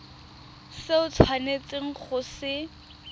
se o tshwanetseng go se